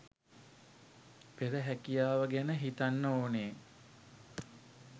පෙර හැකියාව ගැන හිතන්න ඕනේ